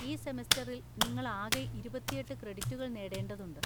ഈ സെമസ്റ്ററിൽ നിങ്ങൾ ആകെ ഇരുപത്തിയെട്ട് ക്രെഡിറ്റുകൾ നേടേണ്ടതുണ്ട്.